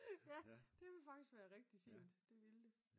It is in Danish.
Ja det ville faktisk være rigtig fint det ville det